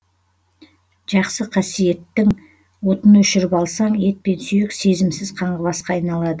жақсы қасиеттің отын өшіріп алсаң ет пен сүйек сезімсіз қаңғыбасқа айналады